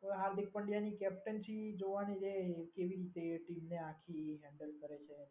હવે હાર્દિક પંડ્યા ની કેપ્ટનશીપ જોવાની છે. એ કેવી રીતે ટીમને આખી હેન્ડલ કરે છે.